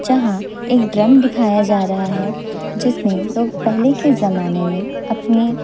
जहां एक ड्रम दिखाया जा रहा है जिसमें लोग पहले के जमाने में अपने--